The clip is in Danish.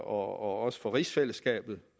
også for rigsfællesskabet